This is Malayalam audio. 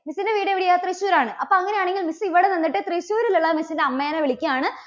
miss ന്റെ വീട് എവിടെയാ തൃശ്ശൂർ ആണ്? അപ്പോൾ അങ്ങനെയാണെങ്കിൽ miss ഇവിടെ നിന്നിട്ട് തൃശ്ശൂരിലുള്ള mis ന്റെ അമ്മേനെ വിളിക്കുകയാണ്